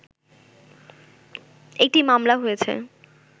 একটি মামলা হয়েছে